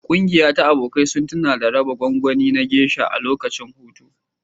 Ƙungiya ta abokai sun tuna da raba gwangwani na Geisha a lokacin hutu.